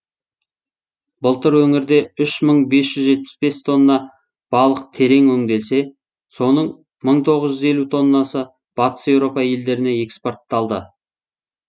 былтыр өңірде үш мың бес жүз жетпіс бес тонна балық терең өңделсе соның мың тоғыз жүз елу тоннасы батыс еуропа елдеріне экспортталды